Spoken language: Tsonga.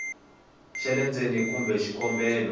xa le ndzeni kumbe xikombelo